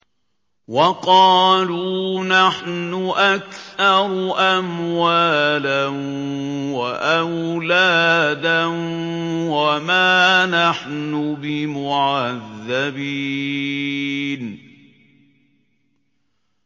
وَقَالُوا نَحْنُ أَكْثَرُ أَمْوَالًا وَأَوْلَادًا وَمَا نَحْنُ بِمُعَذَّبِينَ